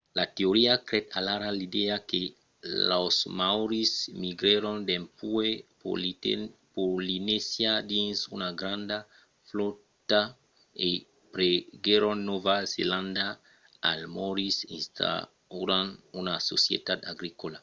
la teoria creèt alara l’idèa que los maòris migrèron dempuèi polinesia dins una granda flòta e prenguèron nòva zelanda als moriòris instaurant una societat agricòla